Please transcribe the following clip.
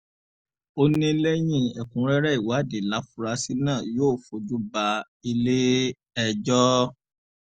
ó ní lẹ́yìn ẹ̀kúnrẹ́rẹ́ ìwádìí láfúrásì náà yóò fojú bá ilé-ẹjọ́